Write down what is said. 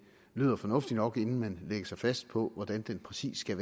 lyder fornuftigt nok at man inden man lægger sig fast på hvordan den præcis skal